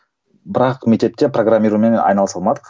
бірақ мектепте программированиемен айналыса алмадық